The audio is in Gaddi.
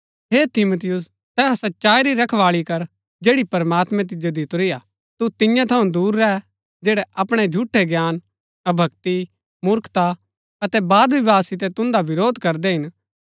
हे तीमुथियुस तैहा सच्चाई री रखबाळी कर जैड़ी प्रमात्मैं तिजो दितुरी हा तू तिन्या थऊँ दूर रैह जैड़ै अपणै झूठै ज्ञान अभक्‍ति मूर्खता अतै बादविवाद सितै तुन्दा विरोध करदै हिन